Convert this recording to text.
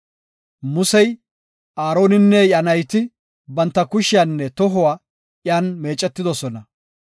Musey, Aaroninne iya nayti banta kushiyanne tohuwa iyan meecetidosona.